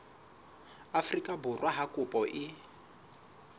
afrika borwa ha kopo e